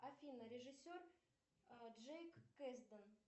афина режиссер джейк кэздан